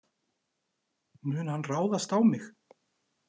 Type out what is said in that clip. Mun hann ráðast á mig?